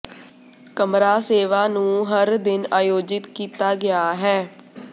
ਕਮਰਾ ਸੇਵਾ ਨੂੰ ਹਰ ਦਿਨ ਆਯੋਜਿਤ ਕੀਤਾ ਗਿਆ ਹੈ